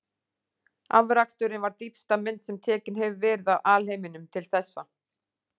Afraksturinn var dýpsta mynd sem tekin hefur verið af alheiminum til þessa.